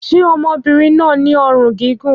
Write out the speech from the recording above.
Ṣé ọmọbìnrin náà ní ọrùn gígùn?